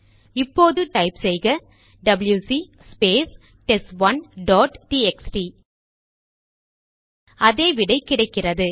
இப்போது டைப் செய்க டபில்யுசி ஸ்பேஸ் டெஸ்ட்1 டாட் டிஎக்ஸ்டி அதே விடை கிடைக்கிறது